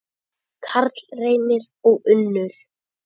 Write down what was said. Karl Reynir og Unnur.